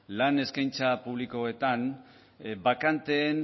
lan eskaintza publikoetan bakanteen